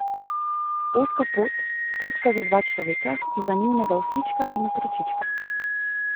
Ozka pot, potka za dva človeka in za njunega oslička in otročička.